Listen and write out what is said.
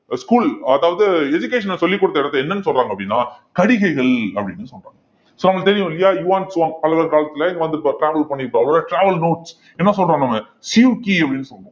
school அதாவது education அ சொல்லிக் கொடுத்த இடத்தை என்னன்னு சொல்றாங்க அப்படின்னா கடிகைகள் அப்படின்னு சொல்றாங்க so அவங்களுக்கு தெரியும் இல்லையா யுவான் சுவாங் பல்லவர் காலத்துல இங்க வந்து travel பண்ணியிருப்பார் அவரோட travel notes என்ன சொல்றோம் நம்ம சியூக்கி அப்படின்னு சொல்லுவோம்